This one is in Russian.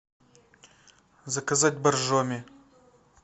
заказать боржоми